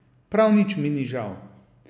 Prav nič mi ni žal.